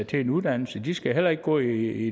til en uddannelse de skal heller ikke gå i